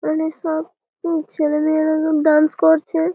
এইখানে সব উঁ ছেলে মেয়েরা কেম ডান্স করছে --